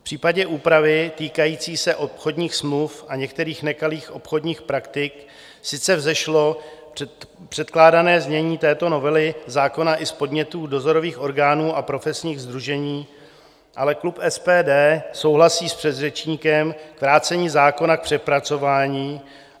V případě úpravy týkající se obchodních smluv a některých nekalých obchodních praktik sice vzešlo předkládané znění této novely zákona, i z podnětů dozorových orgánů a profesních sdružení, ale klub SPD souhlasí s předřečníkem s vrácením zákona k přepracování.